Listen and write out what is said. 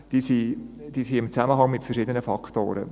Diese stehen im Zusammenhang mit verschiedenen Faktoren.